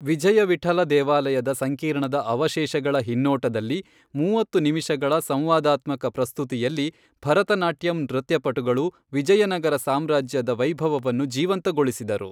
ವಿಜಯ ವಿಠಲ ದೇವಾಲಯದ ಸಂಕೀರ್ಣದ ಅವಶೇಷಗಳ ಹಿನ್ನೋಟದಲ್ಲಿ ಮೂವತ್ತು ನಿಮಿಷಗಳ ಸಂವಾದಾತ್ಮಕ ಪ್ರಸ್ತುತಿಯಲ್ಲಿ, ಭರತನಾಟ್ಯಂ ನೃತ್ಯಪಟುಗಳು ವಿಜಯನಗರ ಸಾಮ್ರಾಜ್ಯದ ವೈಭವವನ್ನು ಜೀವಂತಗೊಳಿಸಿದರು.